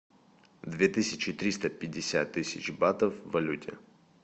две тысячи триста пятьдесят тысяч батов в валюте